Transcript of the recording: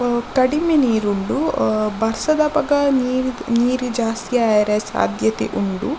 ಆ ಕಡಿಮೆ ನೀರುಂಡು ಆ ಬರ್ಸದಪಗ ನೀ ನೀರ್ ಜಾಸ್ತಿ ಆವೆರೆ ಸಾದ್ಯತೆ ಉಂಡು.